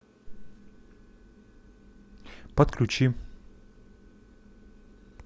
подключи